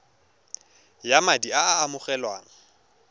ya madi a a amogelwang